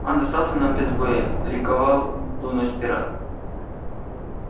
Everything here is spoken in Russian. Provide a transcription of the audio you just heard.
он достался нам без боя ликовал в ту ночь пират